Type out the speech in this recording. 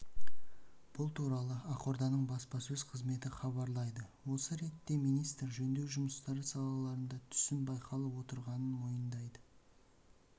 бұл туралы ақорданың баспасөз қызметі хабарлайды осы ретте министр жөндеу жұмыстары салаларында түсім байқалып отырғаның мойындады